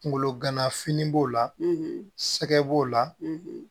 Kunkolo ganafini b'o la sɛgɛn b'o la